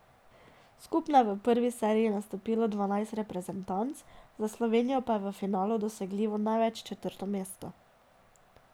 Skupno je v prvi seriji nastopilo dvanajst reprezentanc, za Slovenijo pa je v finalu dosegljivo največ četrto mesto.